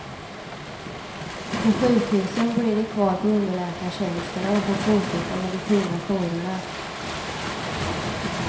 På sjukhusen blir de kvar på underläkartjänsterna och får fortsätta med de tunga jourerna.